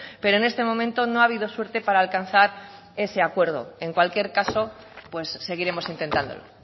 pero en este momento no ha habido suerte para alcanzar ese acuerdo en cualquier caso pues seguiremos intentándolo